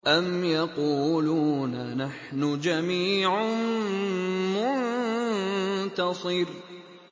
أَمْ يَقُولُونَ نَحْنُ جَمِيعٌ مُّنتَصِرٌ